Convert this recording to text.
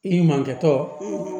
I ɲumankɛtɔ